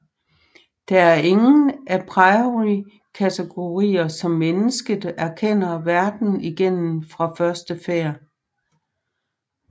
Der er ingen a priori kategorier som mennesket erkender verden igennem fra første færd